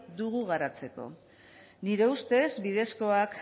dugu garatzeko nire ustez bidezkoak